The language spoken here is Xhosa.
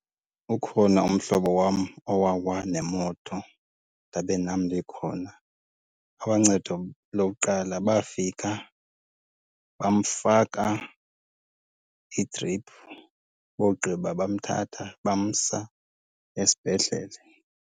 Ukhona umhlobo wam owawa nemoto ndabe nam ndikhona. Aboncedo lokuqala bafika bamfaka idiphu, bowugqiba bamthatha bamsa esibhedlele.